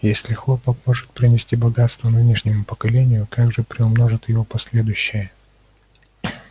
если хлопок может принести богатство нынешнему поколению как же приумножат его последующие